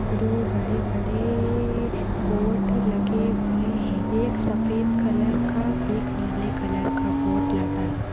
दो बड़े बड़े बोर्ड लगे हुए है एक सफेद कलर का एक नीले कलर का बोर्ड लगा है।